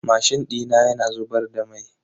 Mashin dina yana zubar da mai.